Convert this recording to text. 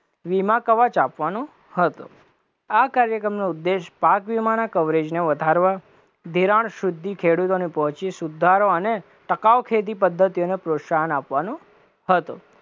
વીમા કવચ આપવાનો હતો, આ કાર્યક્રમનો ઉદેશ્ય પાક વીમાના કવરેજને વધારવા, ધિરાણ સુધી ખેડૂતોને પહોંચી સુધારો અને ટકાવ ખેતી પદ્ધતિને પ્રોત્સાહન આપવાનો હતો,